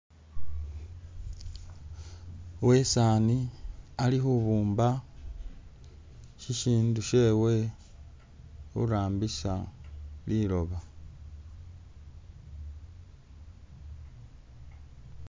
uwesaani ali hubumba shishindu shyewe hurambisa liloba